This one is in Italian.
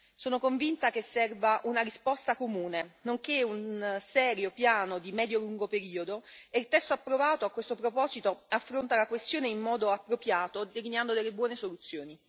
Sono convinta che serva una risposta comune nonché un serio piano di medio e lungo periodo e il testo approvato, a questo proposito, affronta la questione in modo appropriato, delineando delle buone soluzioni.